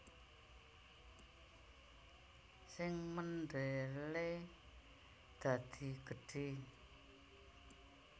Sing mendele dadi gedhe